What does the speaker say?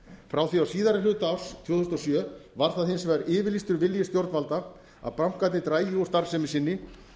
frá því á síðari hluta árs tvö þúsund og sjö var það hins vegar yfirlýstur vilji stjórnvalda að bankarnir drægju úr starfsemi sinni